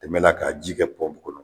Tɛmɛla ka ji kɛ kɔnɔ